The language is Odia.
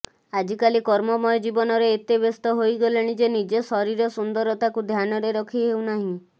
ଆଜିକାଲି କର୍ମମୟ ଜୀବନରେ ଏତେ ବ୍ୟସ୍ତ ହୋଇଗଲେଣି ଯେ ନିଜ ଶରୀର ସୁନ୍ଦରତାକୁ ଧ୍ୟାନରେ ରଖି ହେଉନାହିଁ